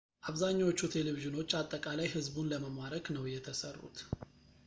አብዛኛዎቹ ቴሌቪዥኖች አጠቃላይ ሕዝቡን ለመማረክ ነው የተሠሩት